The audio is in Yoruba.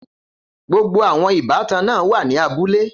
Gbogbo àwọn ìbátan náà wà ní abúlé.